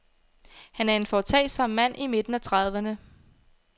Han er en foretagsom mand i midten af trediverne.